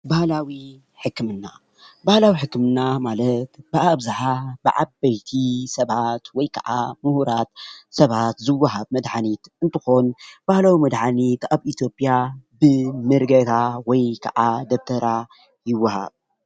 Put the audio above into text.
ባህላዊ ሕክምና ባህላዊ ሕክምና ማለት ብአብዝሓ ብዓበይቲ ሰባት ወይ ከዓ ሙሁራት ሰባት ዝውሃብ መድሓኒት እንትኾን፤ ባህላዊ መድሓኒት አብ ኢትዮጵያ ብመረጌታ ወይ ከዓ ብደብተራ ይወሃብ፡፡